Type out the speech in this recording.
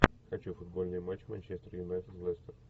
хочу футбольный матч манчестер юнайтед лестер